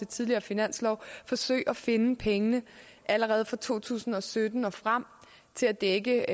tidligere finanslove forsøge at finde pengene allerede fra to tusind og sytten og frem til at dække